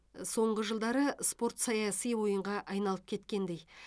соңғы жылдары спорт саяси ойынға айналып кеткендей